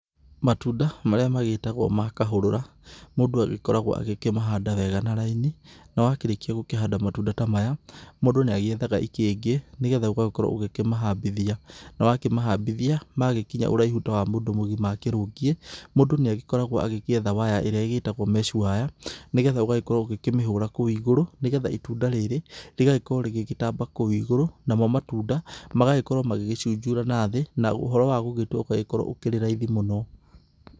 Matunda marĩa magĩtagwo ma kahũrũra, mũndũ agĩkoragwo agĩkĩmahanda wega na raini na wakĩrĩkia gũkĩhanda matunda ta maya mũndũ nĩ agĩethaga ikĩngĩ nĩgetha ũgagĩkorwo ũgĩkĩmahambithia. Na wakĩmahambithia magĩkinya ũraihu ta wa mũndũ mũgima akĩrũngie, mũndũ nĩ agĩkoragwo agĩgĩetha waya ĩrĩa ĩgĩtagwo mesh wĩre nĩgetha ũgagĩkorwo ũgĩkĩmĩhũra kou igũrũ, nĩgetha itunda rĩrĩ rĩgagĩkorwo rĩgĩgĩtamba kou igũrũ, namo matunda magagĩkorwo magĩgĩcunjũra na thĩ na ũhoro wa gũgĩtua ũgagĩkorwo ũkĩrĩ raithi mũno.